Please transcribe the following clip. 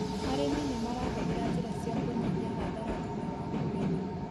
Arĩmi nĩ marahũthĩra njĩra cia kũnyihia hathara thutha wa kũgetha.